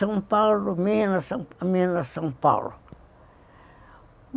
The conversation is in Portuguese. São Paulo, Minas, Minas, São Paulo.